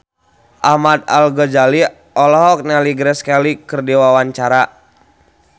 Ahmad Al-Ghazali olohok ningali Grace Kelly keur diwawancara